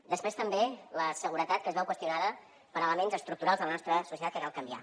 després també la seguretat que es veu qüestionada per elements estructurals de la nostra societat que cal canviar